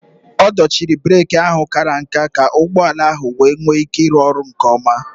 A dochiri breeki ahụ kàrà nká ka ụgbọ ala ahụ wee nwee ike ịrụ ọrụ nke ọma